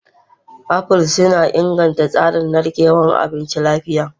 Apples suna inganta tsarin narkewar abinci lafiya.